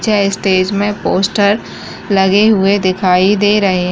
स्टेज में पोस्टर लगे हुए दिखाई दे रहे --